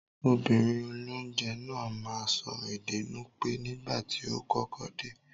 Obìnrin olónje náà máa n so ède Nupe nígbàtí o kọ́kọ́ de